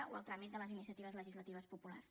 o el tràmit de les iniciatives legislatives populars